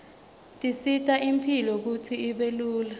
tisita imphilo kutsi ibe lula